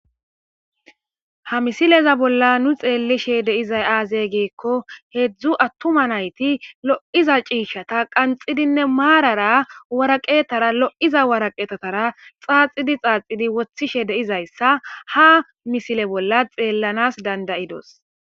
Ha misileza bolla nu be'ishe dizay azee gikon hezhu attuma nayti lo'iza cishata qanxidinne maarara lo'iza woraqata xaaxidi xaaxidi wothishe de'izaysa ha misile bolla xelanas dandayadis.